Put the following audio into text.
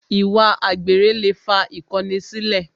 Ìwà àgbèrè lè fa ìkọni sílẹ̀